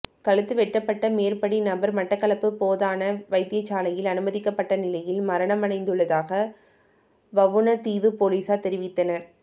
கழுத்து வெட்டப்பட்ட மேற்படி நபர் மட்டக்களப்பு போதனா வைத்தியசாலையில் அனுமதிக்கப்பட்ட நிலையில் மரணமடைந்துள்ளதாக வவுணதீவு பொலிஸார் தெரிவித்தனர்